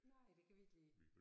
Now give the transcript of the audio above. Nej et kan vi ikke lide